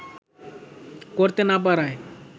করতে না পারায়